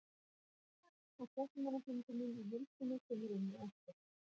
Upptaka af fréttamannafundinum í heild sinni kemur inn á eftir.